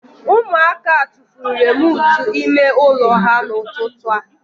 Ụmụaka tufuru remootu ime ụlọ ha n'ụtụtụ a